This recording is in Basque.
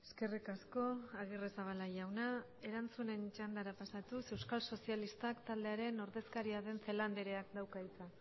eskerrik asko agirrezabala jauna erantzunen txandara pasatuz euskal sozialistak taldearen ordezkaria den celaá andreak dauka hitza